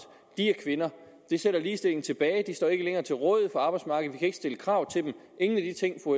kvinder det sætter ligestillingen tilbage de står ikke længere til rådighed for arbejdsmarkedet vi kan ikke stille krav til dem ingen af de ting fru